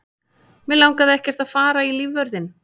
Mig langaði ekkert að fara í lífvörðinn.